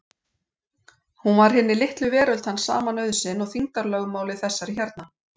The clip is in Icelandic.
Hún var hinni litlu veröld hans sama nauðsyn og þyngdarlögmálið þessari hérna.